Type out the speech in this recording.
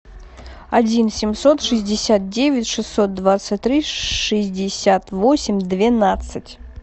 один семьсот шестьдесят девять шестьсот двадцать три шестьдесят восемь двенадцать